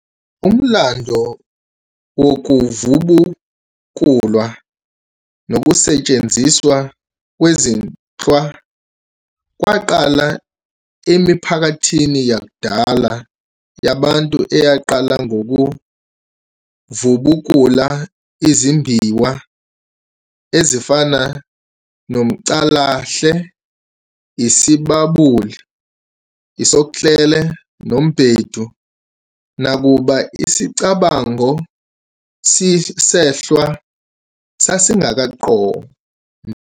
Umlando wokuvubukulwa nokusetshenziswa kwezinhlwa waqala emiphakathini yakudala yabantu eyaqala ngokuvubukula izimbiwa ezifana noMcalahle, Isibabuli, usoklele nemBedu, nakuba isicabango senhlwa sasingakaqondwa.